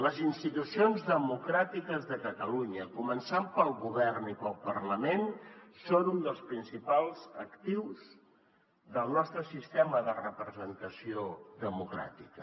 les institucions democràtiques de catalunya començant pel govern i pel parlament són un dels principals actius del nostre sistema de representació democràtica